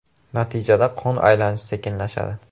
Natijada qon aylanishi sekinlashadi.